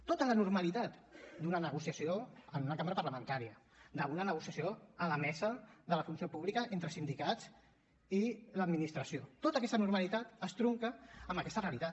tota la normalitat d’una negociació en una cambra parlamentària d’una negociació a la mesa de la funció pública entre sindicats i l’administració tota aquesta normalitat es trunca amb aquesta realitat